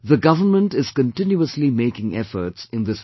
The government is continuously making efforts in this regard